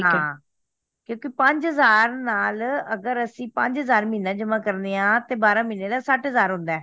ਹਾਂ ਕਿਉਂਕਿ ਪੰਜ ਹਜ਼ਾਰ ਨਾਲ ਅਗਰ ਅੱਸੀ ਪੰਜ ਹਜ਼ਾਰ ਮਹੀਨਾ ਜਮਾ ਕਰਦੇ ਆ ਤੇ ਬਾਰਹ ਮਹਿਨੇ ਦਾ ਸੱਠ ਹਜ਼ਾਰ ਹੁੰਦਾ